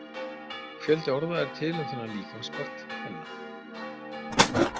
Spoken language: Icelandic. Fjöldi orða er til um þennan líkamspart kvenna.